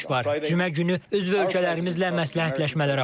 Cümə günü üzv ölkələrimizlə məsləhətləşmələr apardıq.